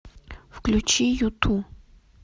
включи юту